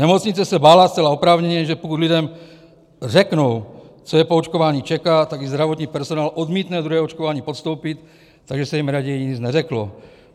Nemocnice se bála zcela oprávněně, že pokud lidem řeknou, co je po očkování čeká, tak i zdravotní personál odmítne druhé očkování podstoupit, takže se jim raději nic neřeklo.